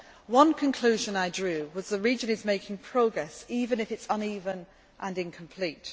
One conclusion I drew was that the region is making progress, even if it is uneven and incomplete.